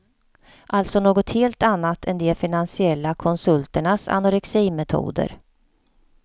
Alltså något helt annat än de finansiella konsulternas anoreximetoder.